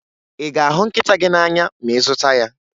Ị ga-ahụ nkịta gị n'anya ma ị zụta ya?